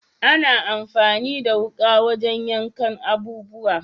Ana amfani da wuka wajen yankan abubuwa.